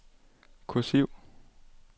kursiv